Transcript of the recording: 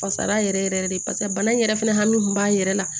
Fasara yɛrɛ yɛrɛ de basa bana in yɛrɛ fɛnɛ hami b'a yɛrɛ la